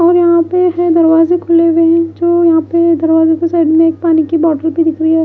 और यहां पे इतने दरवाजे खुले हुए हैं जो यहां पे दरवाजों के साइड में एक पानी की बॉटल भी दिख रही है।